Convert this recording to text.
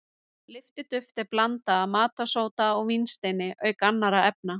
Lyftiduft er blanda af matarsóda og vínsteini auk annarra efna.